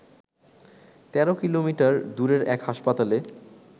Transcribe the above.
১৩ kilometre দূরের এক হাসপাতালে